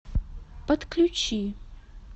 подключи